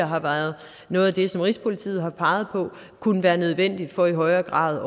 har været noget af det som rigspolitiet tidligere har peget på kunne være nødvendigt for i højere grad